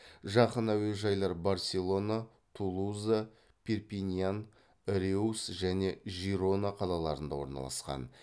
жақын әуежайлар барселона тулуза перпиньян реус және жирона қалаларында орналасқан